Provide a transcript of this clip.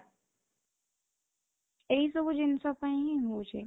ଏଇ ସବୁ ଜିନିଷ ପାଇଁ ହିଁ ହଉଚି